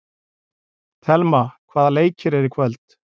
Thelma, hvaða leikir eru í kvöld?